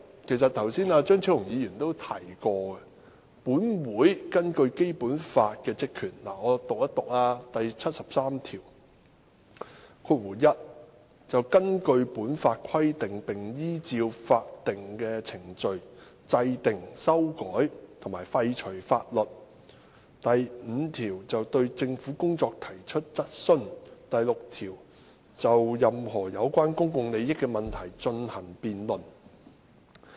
其實剛才張超雄議員都提過本會在《基本法》下的職權，我讀一讀第七十三條"一根據本法規定並依照法定程序制定、修改和廢除法律；五對政府的工作提出質詢；六就任何有關公共利益問題進行辯論"。